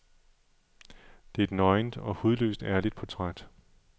Det er et nøgent og hudløst ærligt portræt.